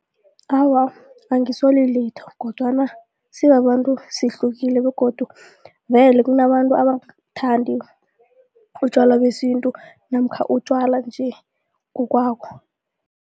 Awa, angisoli litho kodwana sibabantu sihlukile begodu vele kunabantu abangabuthandi utjwala besintu namkha utjwala nje ngokwabo.